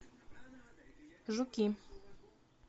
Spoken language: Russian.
жуки